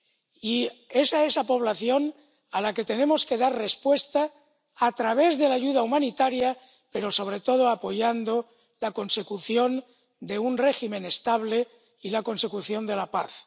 Y es a esa población a la que tenemos que dar respuesta a través de la ayuda humanitaria, pero sobre todo apoyando la consecución de un régimen estable y la consecución de la paz.